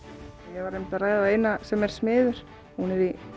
ég var einmitt að ræða við eina sem er smiður hún er í